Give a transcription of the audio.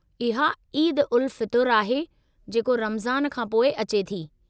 इहा ईद-उल-फ़ितरु आहे, जेको रमज़ान खां पोइ अचे थी।